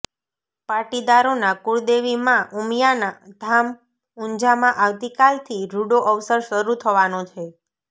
પાટીદારોનાં કુળદેવી માં ઉમિયાના ધામ ઊંઝામાં આવતી કાલથી રૂડો અવસર શરૂ થવાનો છે